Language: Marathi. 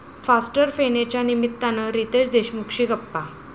फास्टर फेणे'च्या निमित्तानं रितेश देशमुखशी गप्पा